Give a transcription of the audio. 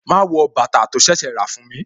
Ma wọ bàtà tó ṣẹ̀ṣẹ̀ rà fún mi